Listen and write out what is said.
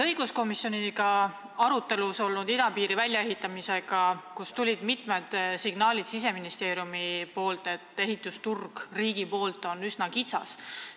Õiguskomisjonis oli arutelu all idapiiri väljaehitamine, kus tulid jutuks mitmed Siseministeeriumi signaalid, et riigi poolt on see ehitusturg üsna kitsas.